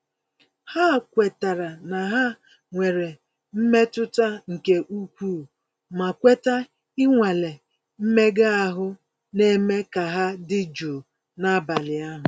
Ha kwetara na ha nwere mmetụta nke ukwuu, ma kweta ịnwale mmega ahụ na-eme ka ha dị jụụ n'abalị ahụ.